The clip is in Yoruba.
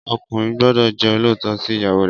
Ọkùnrin gbọ́dọ̀ jẹ́ olóòótọ́ sí ìyàwó rè